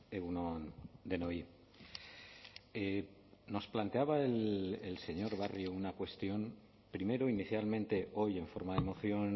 egun on denoi nos planteaba el señor barrio una cuestión primero inicialmente hoy en forma de moción